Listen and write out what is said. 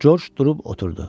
Coç durub oturdu.